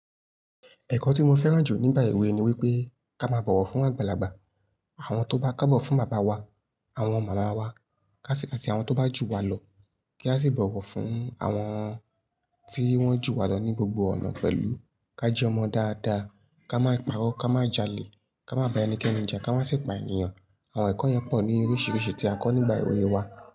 Ẹ̀kọ́ tí mo fẹ́ràn jù nígbà ewé ni wípé ká má bọ̀wọ̀ fún àgbàlagbà, àwọn tó bá kọ́bọ̀ fún bàbá wa, àwọn màmá wa, ká sì káàti àwọn tó bá jù wá lọ kí á sì bọ̀wọ̀ fún àwọn tí wọ́n jù wá lọ ní gbogbo ọ̀nà pẹ̀lú, ká jẹ́ ọmọ dáadáa, ká má parọ́, ká má jalè, ká má bá ẹnikẹ́ni ja, ká má sì pa ènìyàn. Àwọn ẹ̀kọ́ yẹn pọ̀ ní oríṣiríṣi tí a kọ́ nígbà ìwé wa.